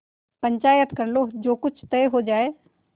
पंचायत कर लो जो कुछ तय हो जाय